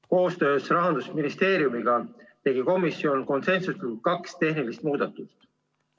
Koostöös Rahandusministeeriumiga tegi komisjon konsensusega kaks tehnilist muudatust.